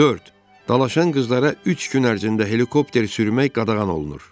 Dörd, dalaşan qızlara üç gün ərzində helikopter sürmək qadağan olunur.